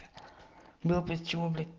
было блять к чему блядь